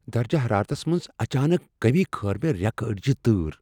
درجہ حرارتس منز اچانک کمی كھٲر مے٘ ریكہٕ اڈِجہِ تٲر ۔